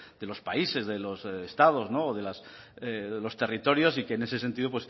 de los países de los estados o de los territorios y que en ese sentido